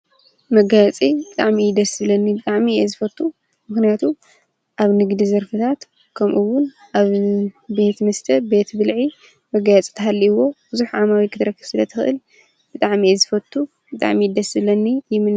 መጋየፂ ብጣዕሚ እዩ ደስ ዝብለኒ ፤ ብጣዕሚ እየ ዝፈቱ፡፡ ምክንያቱ አብ ንግዲ ዘርፊታት ከምኡውን አብ ቤት መስተ ቤት ብልዒ መጋየፂ ተሃልይዎ ብዙሕ ዓማዊል ክትረክብ ስለትክእል ብጣዕሚ እየ ዝፈቱ ብጣዕሚ እዩ ደስ ዝብለኒ ይምነ፡፡